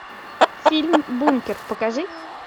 фильм бункер покажи